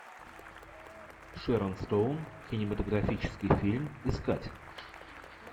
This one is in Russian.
шэрон стоун кинематографический фильм искать